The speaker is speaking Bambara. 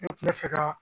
Ne kun bɛ fɛ ka